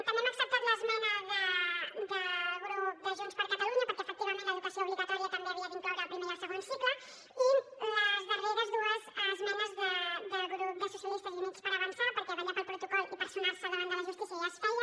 també hem acceptat l’esmena del grup de junts per catalunya perquè efectivament l’educació obligatòria també havia d’incloure el primer i el segon cicles i les darreres dues esmenes del grup socialistes i units per avançar perquè vetllar pel protocol i personar se davant de la justícia ja es feia